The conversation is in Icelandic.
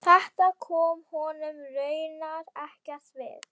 Þetta kom honum raunar ekkert við.